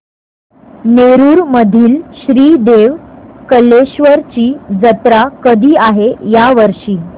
नेरुर मधील श्री देव कलेश्वर ची जत्रा कधी आहे या वर्षी